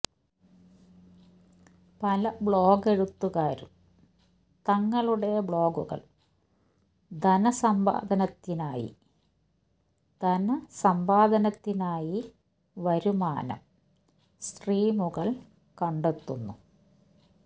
പല ബ്ലോഗെഴുത്തുകാരും തങ്ങളുടെ ബ്ലോഗുകൾ ധനസമ്പാദനത്തിനായി ധനസമ്പാദനത്തിനായി വരുമാനം സ്ട്രീമുകൾ കണ്ടെത്തുന്നു